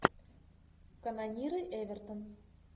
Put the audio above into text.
канониры эвертон